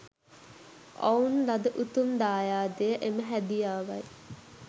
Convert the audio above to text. ඔවුන් ලද උතුම් දායාදය එම හැදියාවයි.